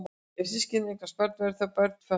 Ef systkini eignast börn verða þá börnin fötluð?